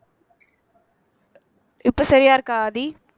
இப்ப சரியா இருக்கா ஆதி